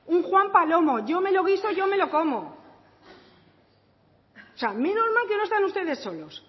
un juan palomo yo me lo guiso y yo me lo como o sea menos mal que no están ustedes solos